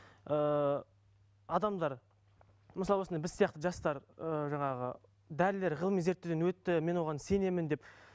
ыыы адамдар мысалы осындай біз сияқты жастар ыыы жаңағы дәрілер ғылыми зерттеуден өтті мен оған сенемін деп